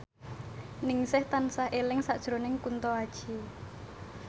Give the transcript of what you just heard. Ningsih tansah eling sakjroning Kunto Aji